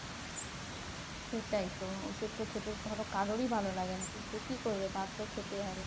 সেটাই তো ওষুধ তো খেতে ধরো কারোরই ভালো লাগে না। কিন্তু কি করবে বাধ্য খেতে হবে?